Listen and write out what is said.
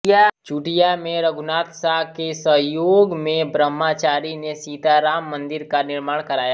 चुटिया में रघुनाथ शाह के सहयोग में ब्रम्हाचारि ने सिताराम मन्दिर का निर्माण कराया